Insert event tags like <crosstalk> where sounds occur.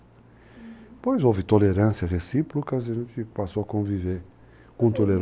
Uhum... Depois houve tolerância recíprocas e a gente passou a conviver com tolerância. <unintelligible>